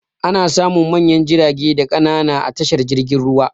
Ana samun manyan jirage da ƙanana a tashar jirgin ruwa.